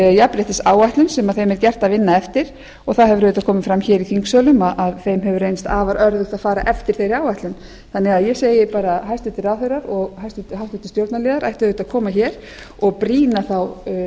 jafnréttisáætlun sem þeim er gert að vinna eftir og það hefur auðvitað komið fram hér í þingsölum að þeim hefur reynst afar örðugt að fara eftir þeirri áætlun ég segi því bara hæstvirtir ráðherrar og háttvirtur stjórnarliðar ættu auðvitað að koma hér og brýna þá